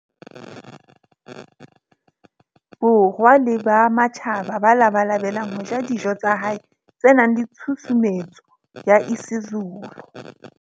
Borwa le ba matjhaba ba labalabelang ho ja dijo tsa hae tse nang le tshusumetso ya isiZulu.